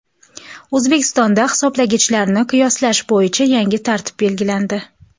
O‘zbekistonda hisoblagichlarni qiyoslash bo‘yicha yangi tartib belgilandi.